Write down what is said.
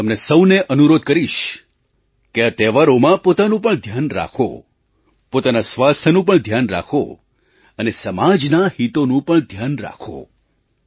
હું તમને સહુને અનુરોધ કરીશ કે આ તહેવારોમાં પોતાનું પણ ધ્યાન રાખો પોતાના સ્વાસ્થ્યનું પણ ધ્યાન રાખો અને સમાજનાં હિતોનું પણ ધ્યાન રાખો